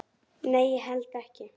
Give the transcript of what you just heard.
"""Nei, ég held ekki."""